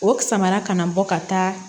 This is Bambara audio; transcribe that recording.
O samara kana na bɔ ka taa